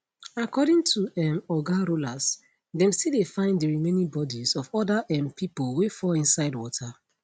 according to um oga rollas dem still dey find di remaining bodies of oda um pipo wey fall inside water